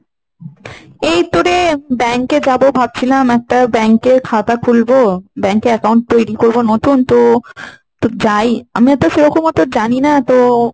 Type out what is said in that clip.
এইতো রে bank এ যাবো ভাবছিলাম একটা bank এর খাতা খুলবো, bank এ account তৈরি করব নতুন তো, তো যাই। আমিও তো সেরকম ওতো জানিনা তো,